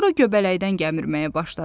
Sonra göbələkdən gəmirəmyə başladı.